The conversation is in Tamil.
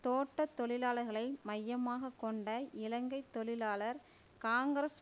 தோட்ட தொழிலாளர்களை மையமாக கொண்ட இலங்கை தொழிலாளர் காங்கிரஸ்